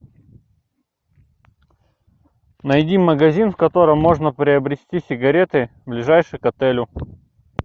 найди магазин в котором можно приобрести сигареты ближайший к отелю